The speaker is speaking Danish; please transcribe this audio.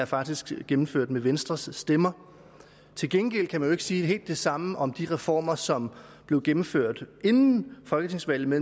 faktisk er gennemført med venstres stemmer til gengæld kan man jo ikke sige helt det samme om de reformer som blev gennemført inden folketingsvalget